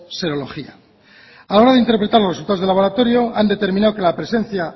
serología a la hora de interpretar los resultados de laboratorio han determinado que la presencia